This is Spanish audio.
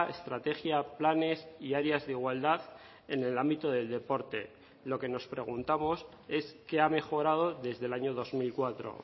estrategia planes y áreas de igualdad en el ámbito del deporte lo que nos preguntamos es qué ha mejorado desde el año dos mil cuatro